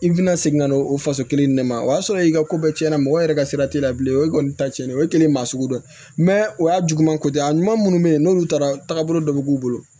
I bɛna segin ka n'o o faso kelen ne ma o y'a sɔrɔ i ka ko bɛɛ cɛn na mɔgɔ yɛrɛ ka sira tɛ bilen o ye kɔni ta cɛnnen ye o ye kelen maa sugu dɔ ye o y'a juguman ko tɛ a ɲuman minnu bɛ yen n'olu taara bolo dɔ bɛ k'u bolo